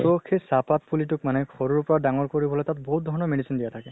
so সেই চাহ পাত পুলি তোক মানে সৰুৰ পৰা ডাঙৰ কৰিবলৈ তাক বহুত ধৰণৰ medicine দিয়া থাকে